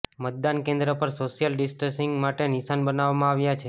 મતદાન કેન્દ્ર પર સોશિયલ ડિસ્ટંસીંગ માટે નિશાન બનાવવામાં આવ્યા છે